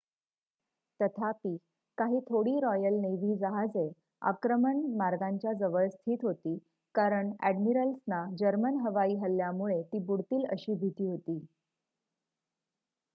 तथापि काही थोडी रॉयल नेव्ही जहाजे आक्रमण मार्गांच्या जवळ स्थित होती कारण अ‍ॅडमिरल्सना जर्मन हवाई हल्ल्यामुळे ती बुडतील अशी भीती होती